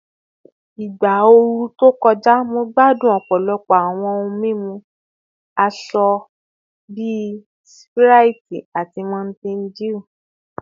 Igba ooru to kọja, Mo gbadun ọpọlọpọ awọn ohun mimu asọ bi Sprite ati Mountain Dew